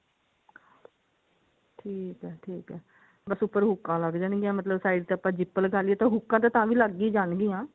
ਠੀਕ ਹੈ ਠੀਕ ਹੈ ਬਸ ਉੱਪਰ ਹੁਕਾ ਲਗ ਜਾਣਗੀਆਂ ਮਤਲਬ side ਤੇ ਆਪਾਂ zip ਲਗਾ ਲੀਏ ਤਾਂ ਹੂਕਾਂ ਤਾਂ ਤਾਵੀਂ ਲੱਗ ਹੀ ਜਾਣਗੀਆਂ